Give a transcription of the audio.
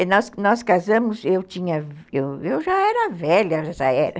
Nós, nós casamos, eu tinha, eu já era velha nessa época